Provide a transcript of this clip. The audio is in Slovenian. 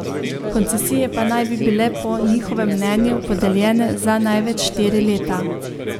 Koncesije pa naj bi bile po njihovem mnenju podeljene za največ štiri leta.